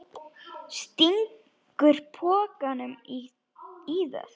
Stingur pokanum í það.